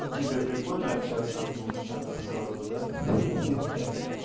тебе прикольно общаться в двух чатах сразу да хе-хе